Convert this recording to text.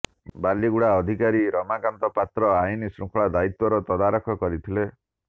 ବାଲିଗୁଡ଼ା ଥାନାଧିକାରୀ ରମାକାନ୍ତ ପାତ୍ର ଆଇନ ଶୃଙ୍ଖଳା ଦାୟିତ୍ୱର ତଦାରଖ କରିଥିଲେ